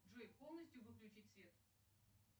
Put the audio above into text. джой полностью выключить свет